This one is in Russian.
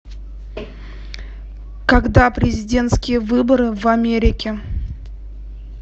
когда президентские выборы в америке